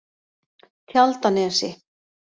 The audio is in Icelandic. Tjaldanesi